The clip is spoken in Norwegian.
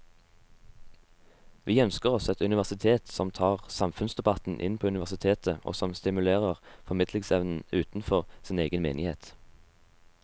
Vi ønsker oss et universitet som tar samfunnsdebatten inn på universitetet og som stimulerer formidlingsevnen utenfor sin egen menighet.